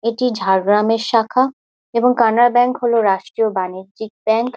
এটি ঝারগ্রামে শাখা এবং কানাডা ব্যাংক হলো রাষ্ট্রীয় বাণিজ্যিক ব্যাংক ।